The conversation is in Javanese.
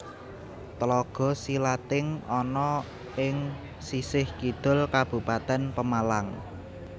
Tlaga Silating ana ing sisih kidul Kabupatèn Pemalang